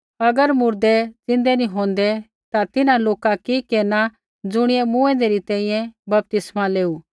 अगर मुर्दै ज़िन्दै नी होंदै ता तिन्हां लोका कि केरनै ज़ुणियै मूँऐंदै री तैंईंयैं बपतिस्मा लेऊ